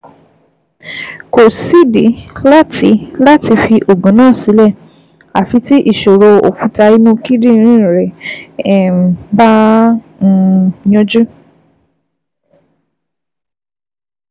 Kò sídìí láti láti fi oògùn náà sílẹ̀ àfi tí ìṣòro òkúta inú kíndìnrín rẹ um bá um yanjú